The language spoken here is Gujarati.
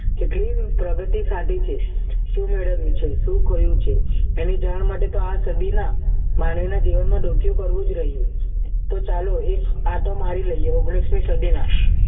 કેટલી પ્રગતિ સાધી છે શું મેળવ્યું છે શું ખોયું છે એને જાણ માટે તો આ સદીના માનવીના જીવનમાં ડોકિયું કરવું જ રહ્યું તો ચાલો એક આટો મારી લઈએ ઓગણીસ મી સદી માં